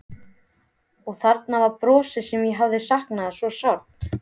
Og þarna var brosið sem ég hafði saknað svo sárt.